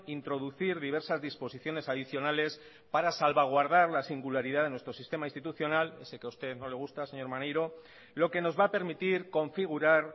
introducir diversas disposiciones adicionales para salvaguardar la singularidad de nuestro sistema institucional ese que a usted no le gusta señor maneiro lo que nos va a permitir configurar